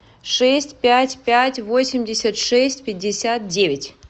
шесть пять пять восемьдесят шесть пятьдесят девять